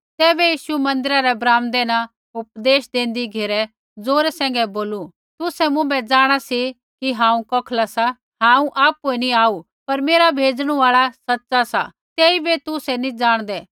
तैबै यीशु मन्दिरा रै ब्राम्दै न उपदेश देंदी घेरै ज़ोरै सैंघै बोलू तुसै मुँभै जाँणा सी कि हांऊँ कौखला सा हांऊँ आपुऐ नैंई आऊ पर मेरा भेजणु आल़ा सच़ा सा तेइबै तुसै नी जाणदै